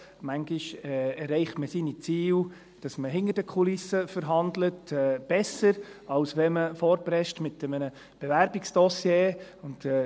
Manchmal erreicht man seine Ziele besser, indem man hinter den Kulissen verhandelt, als wenn man mit einem Bewerbungsdossier vorprescht.